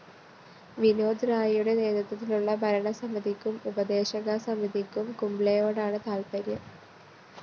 വിനോദ് റായിയുടെ നേതൃത്വത്തിലുള്ള ഭരണസമിതിക്കും ഉപദേശക സമിതിക്കും കുംബ്ലെയോടാണ് താത്പര്യം